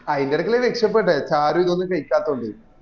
ആയിന്ടെ എടക്കല്ലേ രക്ഷപെട്ടേ ഷാരൂഖ് ഒന്നും കൈക്കാത്തൊണ്ട്